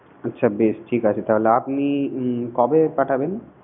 আচ্ছা বেশ ঠিক আছে তাহলে আপনি উম কবে পাঠাবেন?